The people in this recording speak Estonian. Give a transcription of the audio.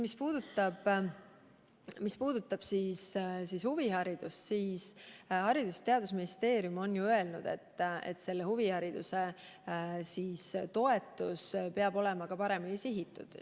Mis puudutab huviharidust, siis Haridus- ja Teadusministeerium on öelnud, et huvihariduse toetus peab olema paremini sihitud.